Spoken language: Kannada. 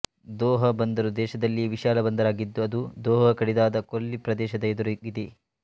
ದೊಹಾ ಬಂದರು ದೇಶದಲ್ಲಿಯೇ ವಿಶಾಲ ಬಂದರಾಗಿದ್ದು ಅದು ದೊಹಾ ಕಡಿದಾದ ಕೊಲ್ಲಿ ಪ್ರದೇಶದ ಎದುರಿಗಿದೆ